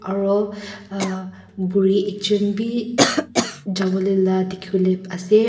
aro ah buri ekjun bi jawole la dikhiwole ase.